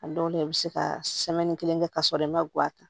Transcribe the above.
A dɔw la i bɛ se ka kelen kɛ k'a sɔrɔ i ma guwa ta